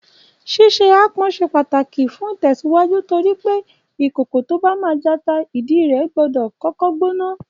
Ṣíṣe aápọn ṣe pàtàkì fún ìtẹ̀síwájú torí pé ìkòkò tó bá máa jata, ìdí rẹ̀ gbọ́dọ̀ kọ́kọ́ gbóná